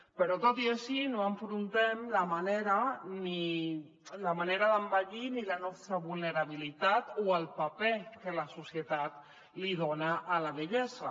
però tot i així no afrontem ni la manera d’envellir ni la nostra vulnerabilitat o el paper que la societat li dona a la vellesa